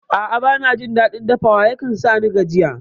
A'a bana jin daɗin dafawa, yakan sani gajiya